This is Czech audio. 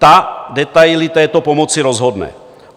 Ta detaily této pomoci rozhodne.